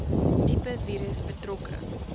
tipe virus betrokke